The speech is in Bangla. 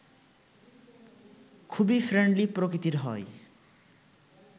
খুবই ফ্রেন্ডলি প্রকৃতির হয়